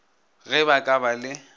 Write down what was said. ge ba ka ba le